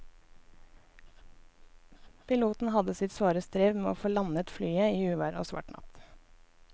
Piloten hadde sitt svare strev med å få landet flyet i uvær og svart natt.